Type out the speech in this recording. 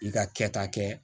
I ka kɛta kɛ